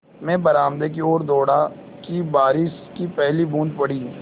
मैं बरामदे की ओर दौड़ा कि बारिश की पहली बूँद पड़ी